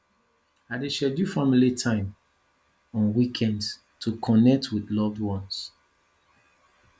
i dey schedule family time on weekends to connect with loved ones